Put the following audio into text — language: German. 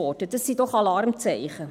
Dies sind doch Alarmzeichen.